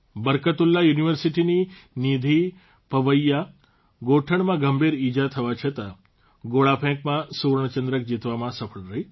બર્કતુલ્લાહ યુનિવર્સિટીની નિધી પવૈયા ગોઠણમાં ગંભીર ઇજા થવા છતાં ગોળાફેંકમાં સુવર્ણચંદ્રક જીતવામાં સફળ રહી